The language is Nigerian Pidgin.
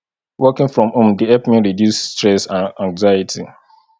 working from home dey help me reduce stress and anxiety